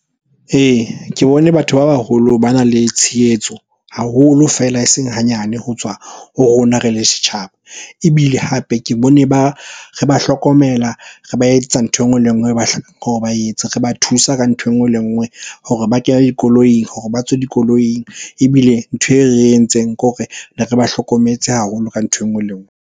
Ee, ke bone batho ba baholo bana le tshehetso haholo feela eseng hanyane ho tswa ho rona re le setjhaba. Ebile hape ke bone re ba hlokomela re ba etsetsa ntho enngwe le enngwe ba etse. Re ba thusa ka ntho enngwe le enngwe hore ba kene dikoloing, hore ba tswe dikoloing. Ebile ntho e re entseng kore ne re ba hlokometse haholo ka ntho enngwe le enngwe.